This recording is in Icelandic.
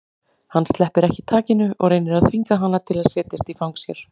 Hann sleppir ekki takinu og reynir að þvinga hana til að setjast í fang sér.